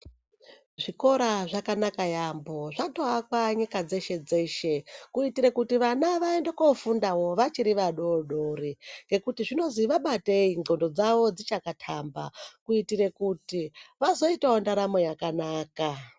Zvikora zvakanaka yaambo zvakawakwa nyika dzeshe dzeshe kutire vana vaende kofundawo vachiri vadodori ngekuti zvinonzi vabatei nxondo dzawo dzakachatamba kuitira kuti vazoitewo ndaramo yakanaka.